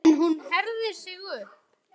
En hún herðir sig upp.